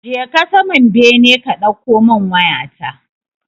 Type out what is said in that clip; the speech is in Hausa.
Je ka saman bene ka ɗauko min waya ta.